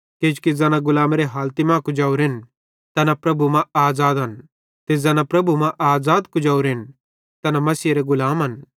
किजोकि ज़ैना गुलामेरे हालती मां कुजोरेन तैना प्रभु मां आज़ादन तेन्च़रे ज़ैना प्रभु मां आज़ाद कुजोरेन तैना मसीहेरे गुलामन